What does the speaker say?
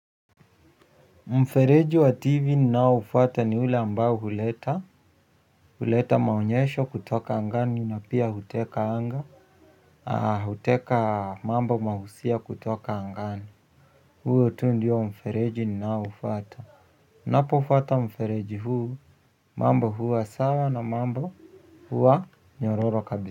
Mfereji wa tv ninaoufuatwa ni ule ambao huleta huleta maonyesho kutoka angani na pia huteka anga huteka mambo mahusia kutoka angani. Huo tu ndio mfereji ninaoufuata. Napo fuata mfereji huu mambo huwa sawa na mambo huwa nyororo kabisa.